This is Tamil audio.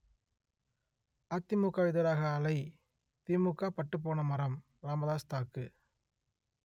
அதிமுகவிற்கு எதிராக அலை திமுக பட்டுபோன மரம் ராமதாஸ் தாக்கு